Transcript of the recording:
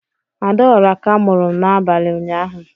Adaora ka muru n'abali ụnyaahụ.